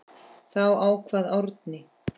Þá kvað Árni